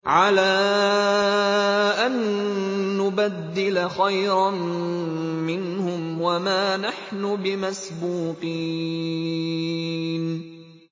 عَلَىٰ أَن نُّبَدِّلَ خَيْرًا مِّنْهُمْ وَمَا نَحْنُ بِمَسْبُوقِينَ